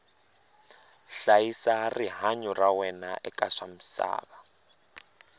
hlayisa rihanyu ra wena eka swa misava